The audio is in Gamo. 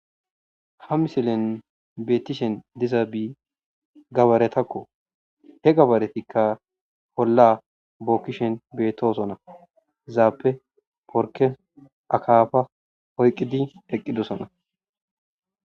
ha misilen beettishen diza bii gabaretakko he gabaretikka holla bookkishen beettoosona zaappe porke akaafa hoyqqidi eqqidosona